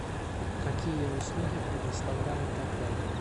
какие услуги предоставляет отель